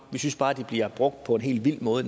vi synes bare de bliver brugt på en helt vild måde